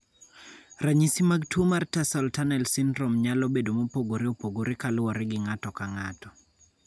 Ranyisi mag tuo mar tarsal tunnel syndrome nyalo bedo mopogore opogore kaluwore gi ng�ato ka ng�ato.